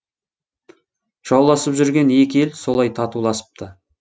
жауласып жүрген екі ел солай татуласыпты